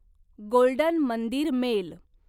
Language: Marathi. golden Mandir mail